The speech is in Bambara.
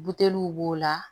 Buteliw b'o la